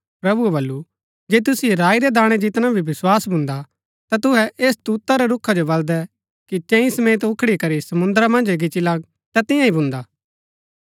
प्रभुऐ बल्लू जे तुसिओ राई रै दाणै जितना भी विस्वास भून्दा ता तुहै ऐस तूत रै रूखा जो बल्‍दै कि चैंईं समेत उखडी करी समुन्द्रा मन्ज गिच्ची लग ता तियां ही भून्दा